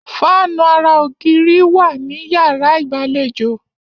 Fáànù ara ògiri wà ní yàrá ìgbàlejò.